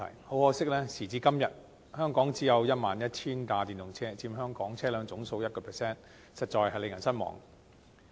很可惜，時至今日，香港只有 11,000 輛電動車，佔香港車輛總數的 1%， 實在令人失望。